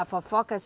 A fofoca?